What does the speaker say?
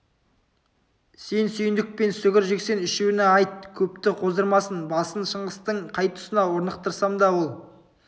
сен сүйіндік пен сүгір жексен үшеуіне айт көпті қоздырмасын бассын шыңғыстың қай тұсына орнықтырсам да ол